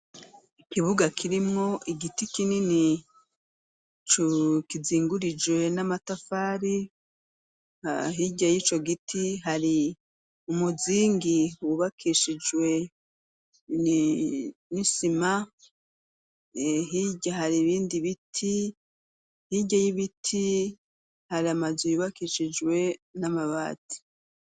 Ikibuga kirimwo igiti kinini kizingurijwe n'amatafari hirya y'ico giti hari umuzingi wubakishijwe n'isima hari ibindi biti hirya y'ibiti hari amazi yubakishijwe n'amabati.